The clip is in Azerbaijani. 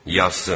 Yazsın.